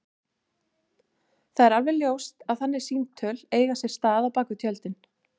Það er alveg ljóst að þannig símtöl eiga sér stað bak við tjöldin.